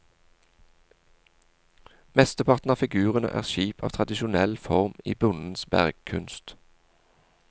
Mesteparten av figurene er skip av tradisjonell form i bondens bergkunst.